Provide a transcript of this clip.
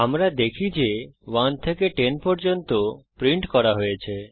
আমরা দেখি যে 1 থেকে 10 পর্যন্ত প্রিন্ট করা হয়েছে